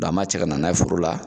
an b'a cɛ ka na n'a ye foro la